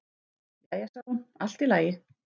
Jæja sagði hún, allt í lagi.